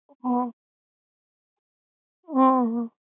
હમ હમ